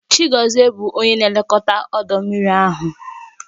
Chigozie bụ onye na-elekọta ọdọ mmiri ahụ